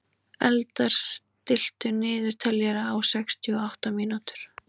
Eldar, stilltu niðurteljara á sextíu og átta mínútur.